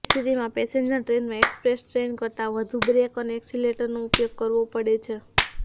આવી સ્થિતિમાં પેસેન્જર ટ્રેનમાં એક્સપ્રેસ ટ્રેન કરતાં વધુ બ્રેક અને એક્સિલરેટરનો ઉપયોગ કરવો પડે છે